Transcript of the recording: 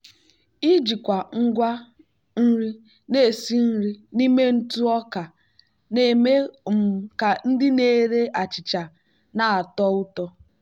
ijikwa ngwa nri na-esi nri n'ime ntụ ọka na-eme um ka ndị na-ere achịcha na-atọ ụtọ.